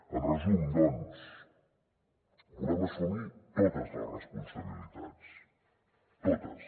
en resum doncs volem assumir totes les responsabilitats totes